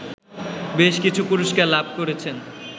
বেশকিছু পুরস্কার লাভ করেছেন